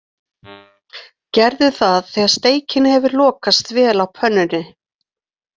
Gerðu það þegar steikin hefur lokast vel á pönnunni.